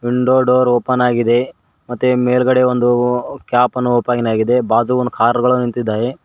Window door open ಆಗಿದೆ ಮತ್ತೆ ಮೇಲ್ಗಡೆ ಒಂದು ಕ್ಯಾಪ್ ಅನ್ನು ಓಪನ್ ಆಗಿದೆ ಬಾಬು ಒಂದು ಕಾರ್ ಗಳು ನಿಂತಿದ್ದಾವೆ.